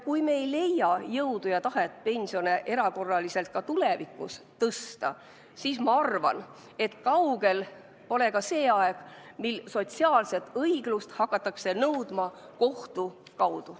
Kui me ei leia jõudu ja tahet pensione erakorraliselt ka tulevikus tõsta, siis ma arvan, et kaugel pole see aeg, mil sotsiaalset õiglust hakatakse nõudma kohtu kaudu.